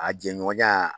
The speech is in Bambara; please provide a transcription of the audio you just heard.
A jɛɲɔgɔnya